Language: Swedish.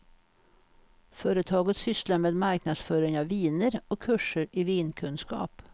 Företaget sysslar med marknadsföring av viner och kurser i vinkunskap.